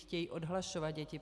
Chtějí odhlašovat děti.